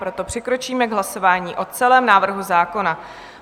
Proto přikročíme k hlasování o celém návrhu zákona.